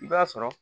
I b'a sɔrɔ